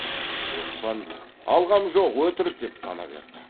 оспан алғам жоқ өтірік деп тана берді